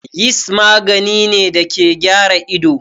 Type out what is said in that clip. Yist magani ne da ke gyara ido.